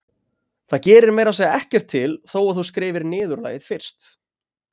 Það gerir meira að segja ekkert til þó að þú skrifir niðurlagið fyrst.